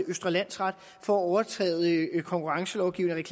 østre landsret for at overtræde konkurrencelovgivningen